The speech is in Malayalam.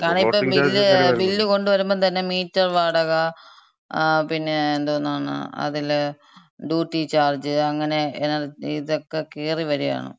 കാരണിപ്പം ബില്ല്, ബില്ല് കൊണ്ടുവരുമ്പം തന്നെ മീറ്റർ വാടക, ങാ പിന്നെ എന്തോന്നാണ് അതില്, ഡ്യൂട്ടി ചാർജ് അങ്ങനെ ഇതൊക്കെ, കേറിവരാണ്.